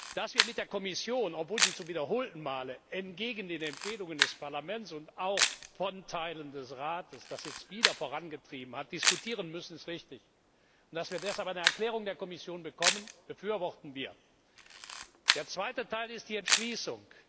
Dass wir mit der Kommission obwohl sie zum wiederholten Male entgegen den Empfehlungen des Parlaments und auch von Teilen des Rates das jetzt wieder vorangetrieben hat diskutieren müssen, ist richtig, und dass wir deshalb eine Erklärung der Kommission bekommen, befürworten wir. Der zweite Teil ist die Entschließung.